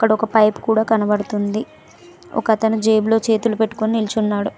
ఒక పైపు కూడా కనబడుతుంది ఒక అతను జేబులో చేతులు పెట్టుకొని నిల్చున్నాడు.